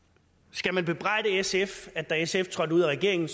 skal man bebrejde sf at da sf trådte ud af regeringen